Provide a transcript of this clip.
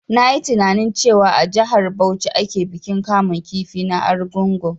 Na yi tininain cewa a jihar Bauchi ake bikin kamun kifi na argungu